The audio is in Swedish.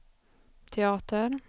teater